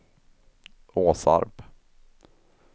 Åsarp